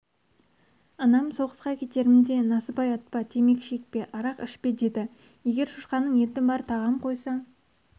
анам соғысқа кетерімде насыбай атпа темекі шекпе арақ ішпе деді егер шошқаның еті бар тағам қойса